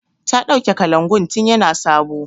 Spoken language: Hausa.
Ta ɗauke kalangun tin ya na sabo